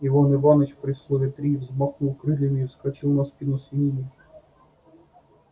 иван иваныч при слове три взмахнул крыльями и вскочил на спину свиньи